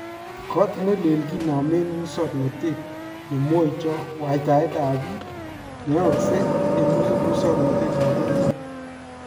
Koot nelel kinaam en musoknotet ne mwayta waytaetab biik neyaakse en musoknotetab bororyeet